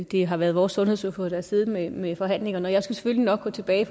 det har været vores sundhedsordfører der har siddet med ved forhandlingerne og jeg skal selvfølgelig nok gå tilbage